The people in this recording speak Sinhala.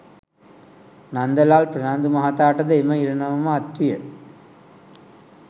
නන්දලාල් ප්‍රනාන්දු මහතාට ද එම ඉරණම ම අත්විය